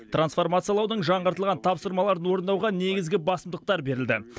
трансформациялаудың жаңғыртылған тапсырмаларын орындауға негізгі басымдықтар берілді